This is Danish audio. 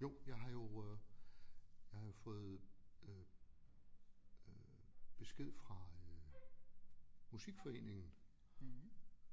Jo jeg har jo øh jeg har jo fået øh øh besked fra øh musikforeningen